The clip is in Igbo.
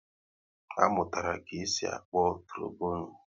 A mụtara ka-esi akpọ trobonu